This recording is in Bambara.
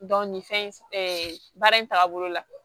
nin fɛn in baara in taabolo la